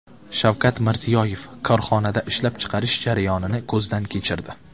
Shavkat Mirziyoyev korxonada ishlab chiqarish jarayonini ko‘zdan kechirdi.